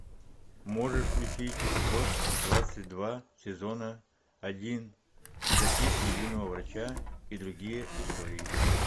можешь включить эпизод двадцать два сезона один записки юного врача и другие истории